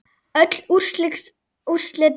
Öll úrslit dagsins